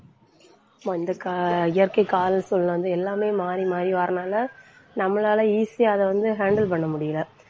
வந்து கா~ இயற்கை காலசூழ்நிலை வந்து எல்லாமே மாறி மாறி வரதுனால நம்மளால easy யா அதை வந்து handle பண்ண முடியலை.